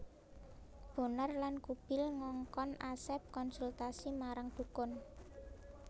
Bonar lan Kubil ngongkon Asep konsultasi marang dukun